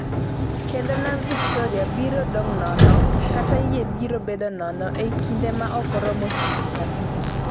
kendo Nam Victoria biro dong' nono kata yie biro bedo nono ei kinde ma ok oromo higni 50."